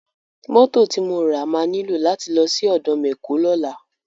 Mọ́tò ti mo ra máa nílò láti lọ́ sí ọ̀dọ̀ mẹ̀kó lọ́la.